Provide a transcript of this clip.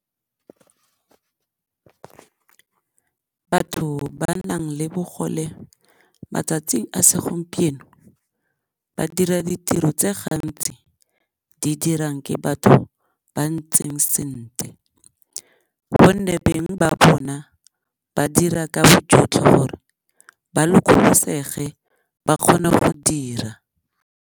Batho ba nang le bogole matsatsi a segompieno ba dira ditiro tse gantsi di dirang ke batho ba ntseng sentle, gonne beng ba bona ba dira ka bojotlhe gore ba lokolosege ba kgone go dira.